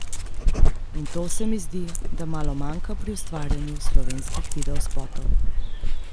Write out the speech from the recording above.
In to se mi zdi, da malo manjka pri ustvarjanju slovenskih videospotov.